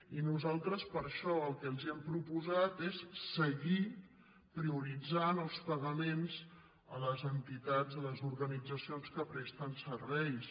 i nosaltres per això el que els hem proposat és seguir prioritzant els pagaments a les entitats a les organitzacions que presten serveis